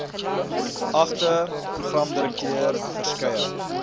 geagte programdirekteur verskeie